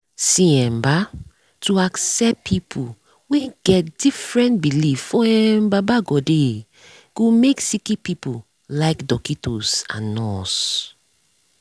see um bah to accept pple wen get different belief for um baba godey go make sicki pple like dockitos and nurse